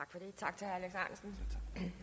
det